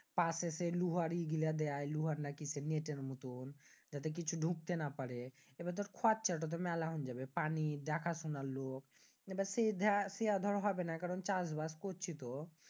পাচেচের লোহার ইয়ে গুলো দেয়া লোহার না কিসের নেটের মতন যাতে কিছু ডুকতে না পাড়ে। এবার দর খরচ্চাটা তো তুর মেলান হয়ে যাবে। পানি দেখা শোনার লোক এবার মানি দর টেয়া দর হবেনা। কারণ চাষবাস করচ্ছিতো।